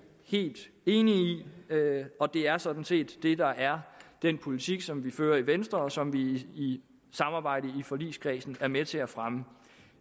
helt enige i og det er sådan set det der er den politik som vi fører i venstre og som vi i samarbejdet i forligskredsen er med til at fremme